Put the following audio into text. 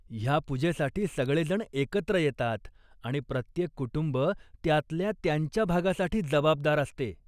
ह्या पूजेसाठी सगळे जण एकत्र येतात आणि प्रत्येक कुटुंब त्यातल्या त्यांच्या भागासाठी जबाबदार असते.